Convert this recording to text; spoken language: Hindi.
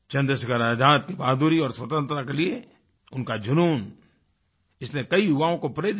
चंद्रशेखर आज़ाद की बहादुरी और स्वतंत्रता के लिए उनका जुनून इसने कई युवाओं को प्रेरित किया